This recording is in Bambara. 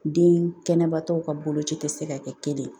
Den kɛnɛbatɔ ka boloci tɛ se ka kɛ kelen ye